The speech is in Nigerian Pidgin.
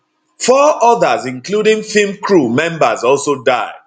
four others including film crew members also die